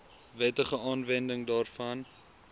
wettige aanwending daarvan